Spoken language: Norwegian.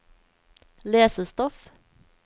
lesestoff